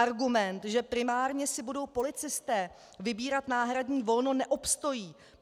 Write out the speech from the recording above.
Argument, že primárně si budou policisté vybírat náhradní volno, neobstojí.